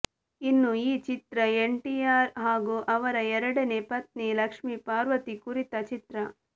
ಇನ್ನು ಈ ಚಿತ್ರ ಎನ್ಟಿಆರ್ ಹಾಗೂ ಅವರ ಎರಡನೇ ಪತ್ನಿ ಲಕ್ಷ್ಮೀ ಪಾರ್ವತಿ ಕುರಿತ ಚಿತ್ರ